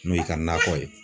N'o y'i ka nakɔ ye.